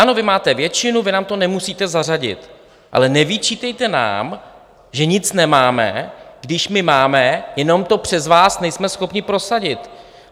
Ano, vy máte většinu, vy nám to nemusíte zařadit, ale nevyčítejte nám, že nic nemáme, když my máme, jenom to přes vás nejsme schopni prosadit.